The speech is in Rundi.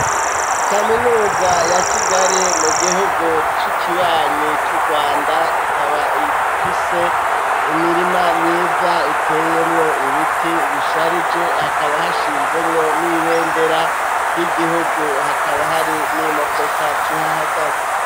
Kaminuza ya Kigali mu gihugu c'ikibanyi c'Urwanda, ikaba ifise imirima myiza iteyemwo ibiti bisharije hakaba hashinzemwo n'ibendera ry'igihugu hakaba hari n'imodoka zihahagaze.